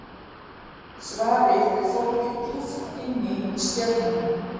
Svarið er fólgið djúpt inni í stjörnunum.